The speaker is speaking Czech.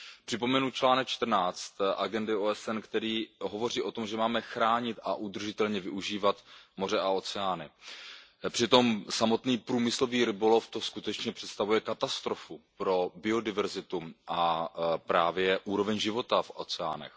Připomenu článek 14 agendy OSN, který hovoří o tom, že máme chránit a udržitelně využívat moře a oceány, přitom samotný průmyslový rybolov skutečně představuje katastrofu pro biodiverzitu a právě úroveň života v oceánech.